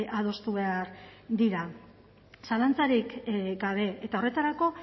adostu behar dira zalantzarik gabe eta horretarako